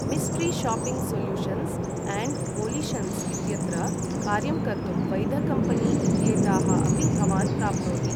मिस्ट्रि shopping solutions and volitions इत्यत्र कार्यं कर्तुं वैधकम्पनी इत्येताः अपि भवान् प्राप्नोति।